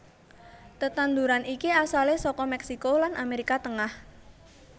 Tetanduran iki asalé saka Mèksiko lan Amérika Tengah